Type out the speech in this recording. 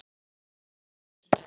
og flúði með hana burt.